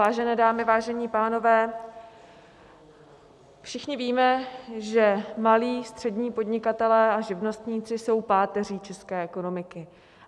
Vážené dámy, vážení pánové, všichni víme, že malí, střední podnikatelé a živnostníci jsou páteří české ekonomiky.